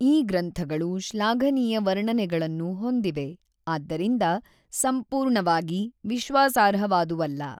ಈ ಗ್ರಂಥಗಳು ಶ್ಲಾಘನೀಯ ವರ್ಣನೆಗಳನ್ನು ಹೊಂದಿವೆ, ಆದ್ದರಿಂದ, ಸಂಪೂರ್ಣವಾಗಿ ವಿಶ್ವಾಸಾರ್ಹವಾದುವಲ್ಲ.